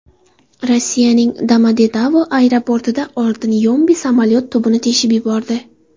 Rossiyaning Domodedovo aeroportida oltin yombi samolyot tubini teshib yubordi.